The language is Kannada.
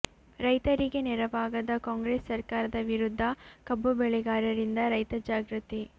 ರೈತರಿಗೆ ನೆರವಾಗದ ಕಾಂಗ್ರೆಸ್ ಸರ್ಕಾರದ ವಿರುದ್ಧ ಕಬ್ಬು ಬೆಳೆಗಾರರಿಂದ ರೈತ ಜಾಗೃತಿ